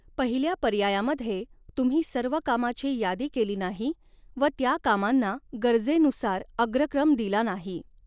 पहिल्या पर्यायामधे तुम्ही सर्व कामाची यादी केली नाही व त्या कामांना गरजेनुसार अग्रक्रम दिला नाही.